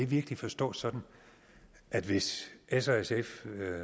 virkelig forstås sådan at hvis s og sf